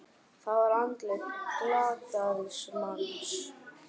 Það var andlit glataðs manns.